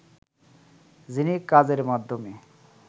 যিনি কাজের মাধ্যমে